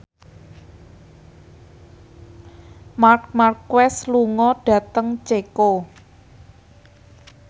Marc Marquez lunga dhateng Ceko